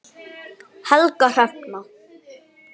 Helga Hrefna.